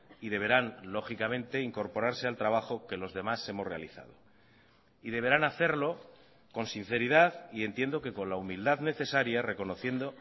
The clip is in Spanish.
y deberán lógicamente incorporarse al trabajo que los demás hemos realizado y deberán hacerlo con sinceridad y entiendo que con la humildad necesaria reconociendo